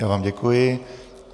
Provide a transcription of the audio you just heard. Já vám děkuji.